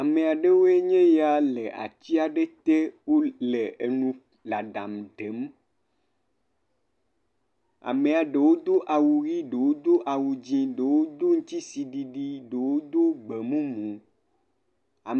Ame aɖewoe nye ya le atsi aɖe te wol le enu la ɖam ɖe m. Amea ɖewo do awu ʋi ɖewo do awu dzi ɖewo do dzisi ɖiɖi ɖewo do gbemumu. Ame.